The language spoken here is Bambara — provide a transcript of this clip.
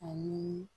Ani